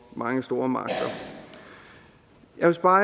mange store magter jeg vil spare